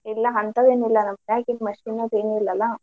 ಇಲ್ಲಾ ಅಂತವೆನಿಲ್ಲಾ ನಮ್ಮ್ ಮನ್ಯಾಗ machine ಅದೇನಿಲ್ಲಲಾ